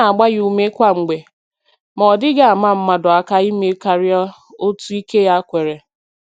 Ọ na-agba ya ume kwa mgbe, ma ọ dịghị ama mmadụ aka ime karịa otu ike ya kwere.